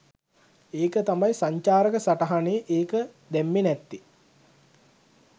ඒක තමයි සංචාරක සටහනේ ඒක දැම්මේ නැත්තේ.